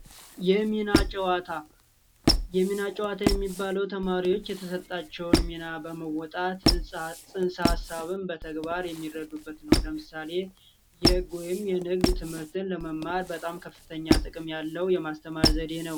የሚና ጨዋታ የሚና ጨዋታ የሚባለው ተማሪዎች የተሰጣቸውን ሚና በመወጣት ፅንሰ ሀሳብን በተግባር የሚረዱበት ነው ለምሳሌ የህግ ወይንም የንግድ ትምህርትን ለመማር ከፍተኛ ጥቅም ያለው የማስተማር ዘዴ ነው።